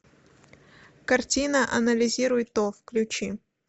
картина анализируй то включи